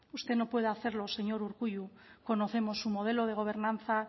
usted no puede hacerlo señor urkullu conocemos su modelo de gobernanza